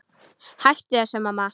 Hættu þessu, mamma!